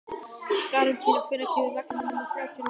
Gratíana, hvenær kemur vagn númer þrjátíu og níu?